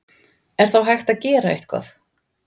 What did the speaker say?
Er þá hægt að gera eitthvað?